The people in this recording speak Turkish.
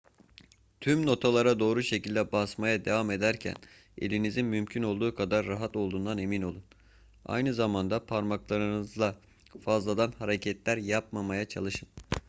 tüm notalara doğru şekilde basmaya devam ederken elinizin mümkün olduğu kadar rahat olduğundan emin olun aynı zamanda parmaklarınızla fazladan hareketler yapmamaya çalışın